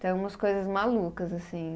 Então, umas coisas malucas, assim.